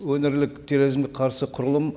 өңірлік терроризмге қарсы құрылым